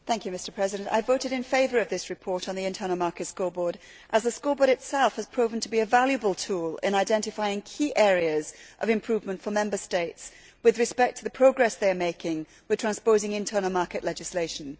Mr President, I voted in favour of this report on the internal market scoreboard, as the scoreboard itself has proved to be a valuable tool in identifying key areas of improvement for Member States with respect to the progress they are making in transposing internal market legislation.